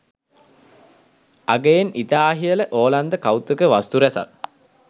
අගයෙන් ඉතා ඉහල ඕලන්ද කෞතුක වස්තු රැසක්